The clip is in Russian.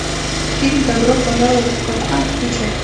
фильм добро пожаловать в капкан включай